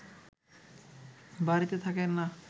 বাড়িতে থাকেন না